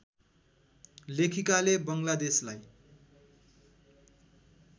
लेखिकाले बङ्गलादेशलाई